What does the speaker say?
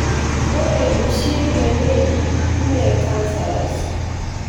ore oshi na benign(ime cancerous)